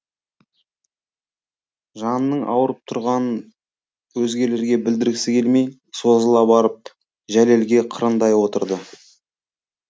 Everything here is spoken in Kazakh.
жанының ауырып тұрғанын өзгелерге білдіргісі келмей созыла барып жәлелге қырындай отырды